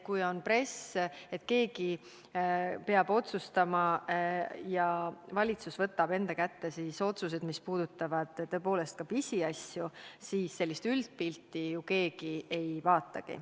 Kui on peal press, et keegi peab otsustama, ja valitsus võtab enda kanda otsused, mis puudutavad ka pisiasju, siis sellist üldpilti ju keegi ei vaatagi.